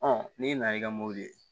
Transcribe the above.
n'i nana i ka mɔbili ye